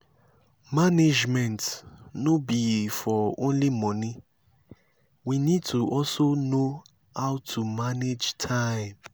management no be for only money we need to also know how to manage time